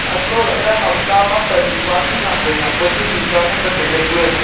antoh lahle ham ta ma pannu pa chu nak wai nak pa chu tuta nganle taile kue.